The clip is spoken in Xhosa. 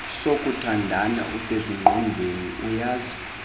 sokuthandana usezingqondweni uyazi